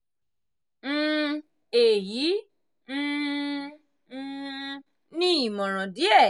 um èyí um um ni ìmọ̀ràn díẹ̀: